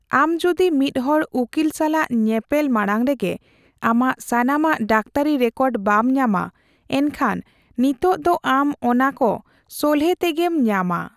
ᱟᱢ ᱡᱩᱫᱤ ᱢᱤᱫᱦᱚᱲ ᱩᱠᱤᱞ ᱥᱟᱞᱟᱜ ᱧᱮᱯᱮᱞ ᱢᱟᱲᱟᱝ ᱨᱮᱜᱮ ᱟᱢᱟᱜ ᱥᱟᱱᱟᱢᱟᱜ ᱰᱟᱠᱛᱟᱨᱤ ᱨᱮᱠᱚᱨᱰ ᱵᱟᱢ ᱧᱟᱢᱟ, ᱮᱱᱠᱷᱟᱱ ᱱᱤᱛᱚᱜ ᱫᱚ ᱟᱢ ᱚᱱᱟ ᱠᱚ ᱥᱚᱞᱦᱮ ᱛᱮᱜᱮᱢ ᱧᱟᱢᱼᱟ ᱾